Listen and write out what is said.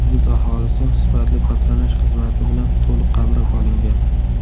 Hudud aholisi sifatli patronaj xizmati bilan to‘liq qamrab olingan.